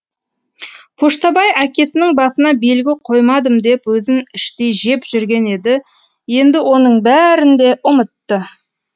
поштабай әкесінің басына белгі қоймадым деп өзін іштей жеп жүрген еді енді оның бәрін де ұмытты